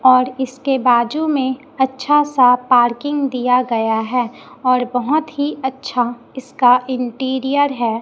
और इसके बाजू में अच्छा सा पार्किंग दिया गया है और बहुत ही अच्छा इसका इंटीरियर है।